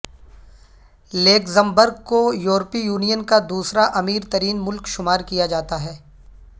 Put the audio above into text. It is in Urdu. لیگزمبرگ کو یورپی یونین کا دوسرا امیر ترین ملک شمار کیا جاتا ہے